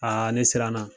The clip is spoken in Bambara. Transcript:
ne siranna